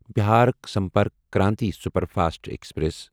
Bihar Sampark Kranti superfast express